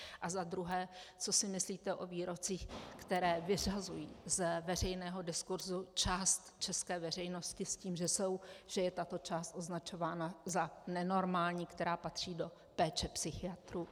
A za druhé, co si myslíte o výrocích, které vyřazují z veřejného diskurzu část české veřejnosti s tím, že je tato část označována za nenormální, která patří do péče psychiatrů.